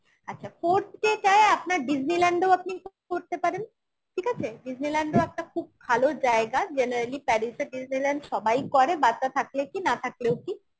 আচ্ছা, forth day টায় আপনার Disneyland ও আপনি করতে পারেন ঠিক আছে Disneyland ও একটা খুব ভালো জায়গা generally Paris আর Disneyland সবাই করে বাচ্চা থাকলে কি না থাকলেও কি